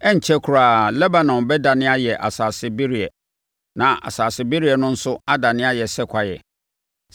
Ɛrenkyɛre koraa, Lebanon bɛdane ayɛ asase bereɛ na asase bereɛ no nso adane ayɛ sɛ kwaeɛ.